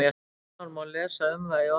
Nánar má lesa um það í orðabókum.